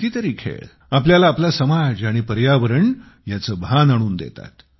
कितीतरी खेळ आपल्याला आपला समाज आणि पर्यावरण ह्याचे भान आणून देतात